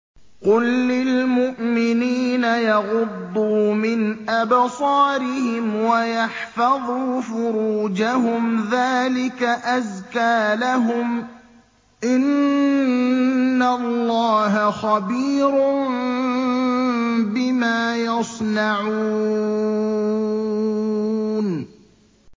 قُل لِّلْمُؤْمِنِينَ يَغُضُّوا مِنْ أَبْصَارِهِمْ وَيَحْفَظُوا فُرُوجَهُمْ ۚ ذَٰلِكَ أَزْكَىٰ لَهُمْ ۗ إِنَّ اللَّهَ خَبِيرٌ بِمَا يَصْنَعُونَ